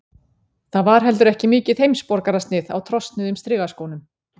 Það var heldur ekki mikið heimsborgarasnið á trosnuðum strigaskónum.